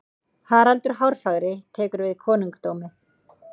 haraldur hárfagri tekur við konungdómi